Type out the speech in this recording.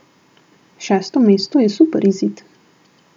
Šesto mesto je super izid.